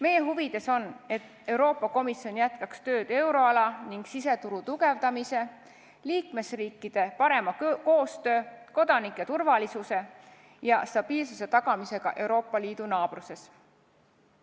Meie huvides on, et Euroopa Komisjon jätkaks tööd euroala ning siseturu tugevdamise, liikmesriikide parema koostöö, kodanike turvalisuse ja stabiilsuse tagamise nimel Euroopa Liidu naabruses.